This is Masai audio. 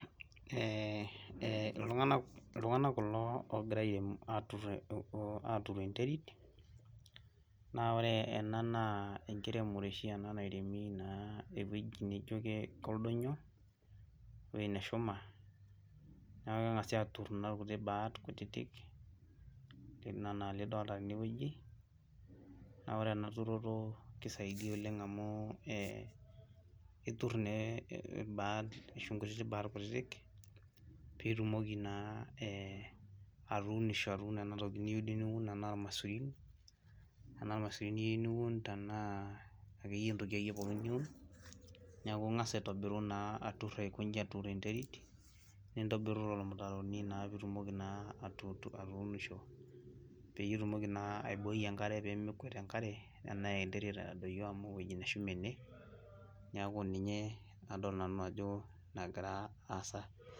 Eeh ltung'anak kulo ogira arem aturr enterit na ore ena na enkiremore ena ewueji nijo koldonyo ewoi neshuka neaku kengasai atur nkuti rubat ana enidolta tenewueji na ore enaturoto na kelelek oleng amu itur na irbaat nkutitik baatpitumoki na atuuno enatoki niyieu niun tanaa irmaisurin niyieu niun tanaa entoki ake pookin niyeu niun neaku ingasa aitobiru aikonji nintobiru mtaroni pitumoki na atuunisho, peitumoki na aiboi enkare pemekuet enkare ana enterit edoyio amu ewoi nashuma ene neaku ninye adol ajo nagira aasa.